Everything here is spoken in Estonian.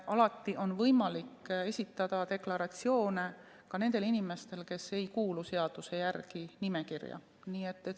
Alati on võimalik esitada deklaratsioone ka nendel inimestel, kes ei kuulu seaduse järgi nimekirja.